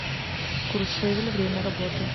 куршевель время работы